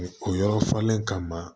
O yɔrɔ falenlen kama